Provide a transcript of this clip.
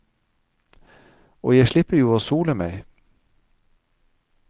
Og jeg slipper jo å sole meg.